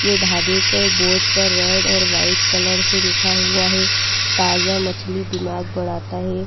ये ढाबे के बोर्ड पर रेड और व्हाइट कलर से लिखा हुआ है ताजा मछली दिमाग बढ़ाता है।